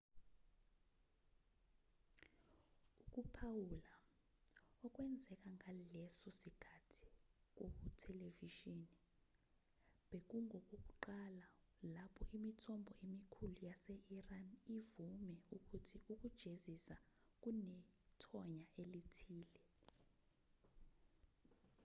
ukuphawula okwenzeka ngaleso sikhathi kuthelevishini bekungokokuqala lapho imithombo emikhulu yase-iran ivume ukuthi ukujezisa kunethonya elithile